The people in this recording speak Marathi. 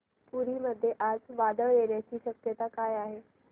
पुरी मध्ये आज वादळ येण्याची शक्यता आहे का